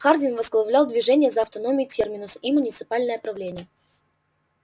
хардин возглавлял движение за автономию терминуса и муниципальное правление